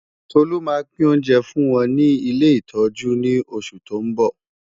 Tolú máa pín oúnjẹ fún wọn ní ilé ìtọ́jú ní ọ̀sẹ̀ tó ń bọ̀.